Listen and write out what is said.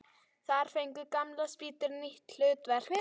Þar fengu gamlar spýtur nýtt hlutverk.